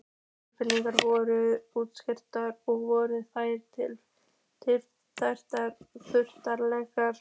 Tilraunir voru gerðar með útivist og voru þær misjafnlega klaufalegar.